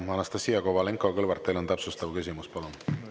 Anastassia Kovalenko-Kõlvart, teil on täpsustav küsimus, palun!